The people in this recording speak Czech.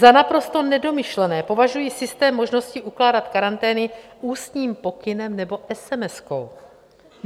Za naprosto nedomyšlený považuji systém možnosti ukládat karantény ústním pokynem nebo esemeskou.